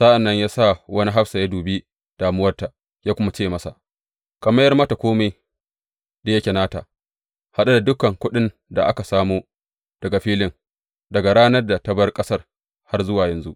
Sa’an nan ya sa wani hafsa yă dubi damuwarta ya kuma ce masa, Ka mayar mata kome da yake nata, haɗe da dukan kuɗin da aka samo daga filin, daga ranar da ta bar ƙasar har yă zuwa yanzu.